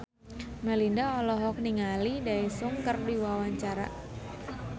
Melinda olohok ningali Daesung keur diwawancara